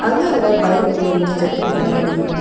அங்கங்க பைக் நின்டுறுக்கு இருக்கு பின்னாடி.